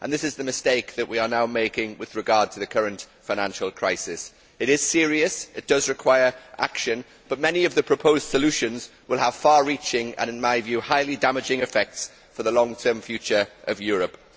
This is the mistake that we are now making with regard to the current financial crisis it is serious, it does require action, but many of the proposed solutions will have far reaching and, in my view, highly damaging effects for the long term future of Europe.